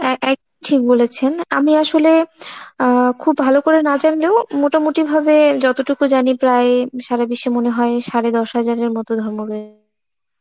অ্যাঁ এক~ ঠিক বলেছেন, আমি আসলে আ খুব ভালো করে না জানলেও, মোটামুটি ভাবে যতটুকু জানি প্রায় সারাদেশে মনে হয় সাড়ে দশ হাজারের মতো